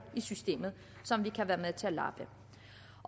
i systemet som vi kan være med til at lappe